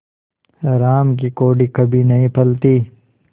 हराम की कौड़ी कभी नहीं फलती